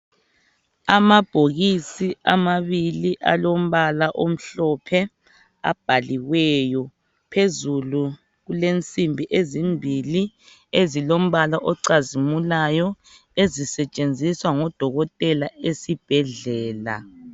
amabhokisi amabili alombala omhlophe abhaliweyo phezulu kulensimbi ezimbili ezilombala ocazimulayo ezisetshenziswa ngo dokotela esibhedlela